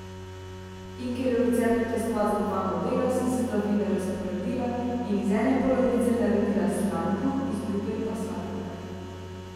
In ker je v receptu testa za dva modela, sem sestavine razpolovila in iz ene polovice naredila slan kruh, iz druge pa sladkega.